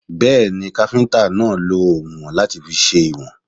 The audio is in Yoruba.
Bẹ́ẹ̀ni, káfíntà náà lọ oùnwọ̀n láti fi sèwọ̀n.